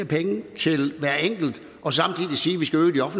penge til hver enkelt og samtidig sige